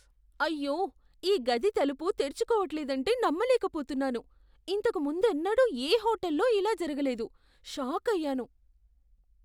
అయ్యో, ఈ గది తలుపు తెరుచుకోవట్లేదంటే నమ్మలేకపోతున్నాను! ఇంతకు ముందెన్నడూ ఏ హోటల్లో ఇలా జరగలేదు. షాకయ్యాను!